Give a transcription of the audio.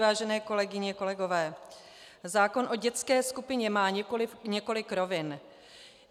Vážené kolegyně, kolegové, zákon o dětské skupině má několik rovin.